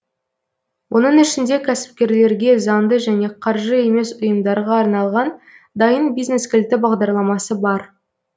оның ішінде кәсіпкерлерге заңды және қаржы емес ұйымдарға арналған дайын бизнес кілті бағдарламасы бар